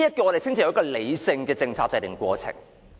我們稱之為理性的政策制訂過程。